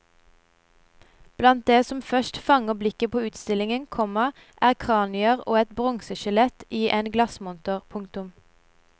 Blant det som først fanger blikket på utstillingen, komma er kranier og et bronseskjelett i en glassmonter. punktum